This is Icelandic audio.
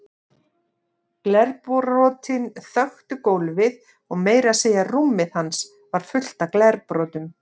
Glerbrotin þöktu gólfið og meira að segja rúmið hans var fullt af glerbrotum.